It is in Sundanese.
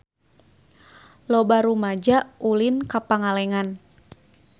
Loba rumaja ulin ka Pangalengan